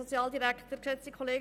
Das Wort hat Grossrätin Imboden.